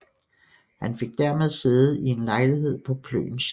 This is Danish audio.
Han fik dermed sæde i en lejlighed på Plön Slot